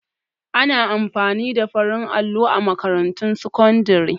Ana amfani da farin allo a makarantun sakandare